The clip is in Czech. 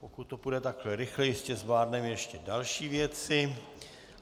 Pokud to půjde takhle rychle, jistě zvládneme ještě další věci.